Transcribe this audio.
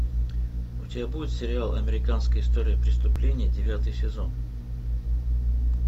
у тебя будет сериал американская история преступлений девятый сезон